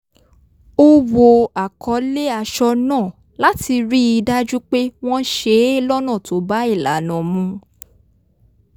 ó wo àkọlé aṣọ náà láti rí i dájú pé wọ́n ṣe é lọ́nà tó bá ìlànà mu